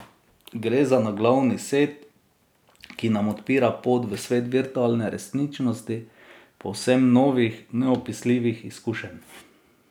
Gre za naglavni set, ki nam odpira pot v svet virtualne resničnosti, povsem novih, neopisljivih izkušenj.